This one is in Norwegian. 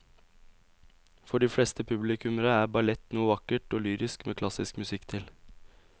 For de fleste publikummere er ballett noe vakkert og lyrisk med klassisk musikk til.